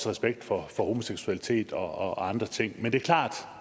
respekt for homoseksualitet og andre ting men det er klart